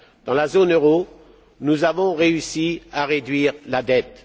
Dans la zone euro, nous avons réussi à réduire la dette.